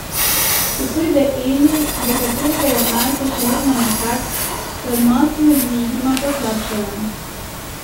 Ko pride Eli, do katere je Marko še vedno mehak, se odnosi med družinama poslabšajo.